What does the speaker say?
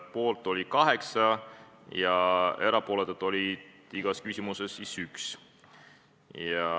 Poolt oli 8 komisjoni liiget ja erapooletuid oli igas küsimuses 1.